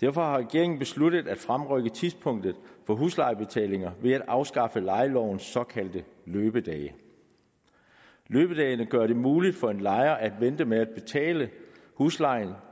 derfor har regeringen besluttet at fremrykke tidspunktet for huslejebetalinger ved at afskaffe lejelovens såkaldte løbedage løbedagene gør det muligt for en lejer at vente med at betale huslejen